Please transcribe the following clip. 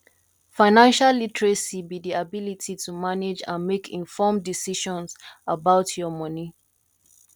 financial literacy be di ability to manage and make informed decisions about your money